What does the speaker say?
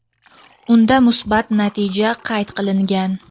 unda musbat natija qayd qilingan.